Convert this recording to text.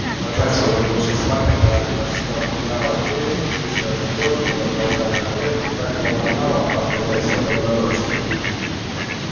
не ложась уже больше спать она растопляла печь чистила картошку заправляла обед и так хлопотала по хозяйству но до ночи